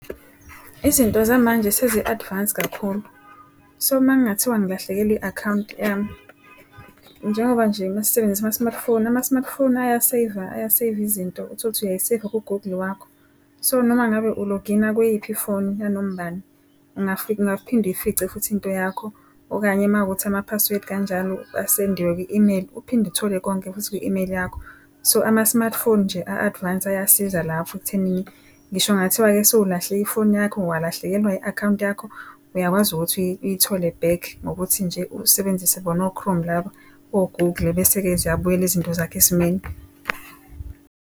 Izinto zamanje sezi-advanced kakhulu. So uma kungathiwa ngilahlekelwe i-akhawunti yami, njengoba nje mesisebenzisa ama-smartphone, ama-smartphone aya-save-a aya-save izinto. Utholuthi uyayi-save-a ku-Google wakho, so noma ngabe u-log in-a kweyiphi ifoni yanoma ubani, ungaphinde uyifice futhi into yakho. Okanye uma kuwukuthi ama-password kanjalo asendiwe kwi-email, uphinde uthole konke futhi kwi-email yakho. So ama-smartphone nje a-advance ayasiza lapho ekuthenini ngisho kungathiwa-ke sewulahla ifoni yakho walahlekelwa i-akhawunti yakho, uyakwazi ukuthi uyithole back ngokuthi nje usebenzise bona o-Chrome laba o-Google. Bese-ke ziyabuyela izinto zakho esimeni.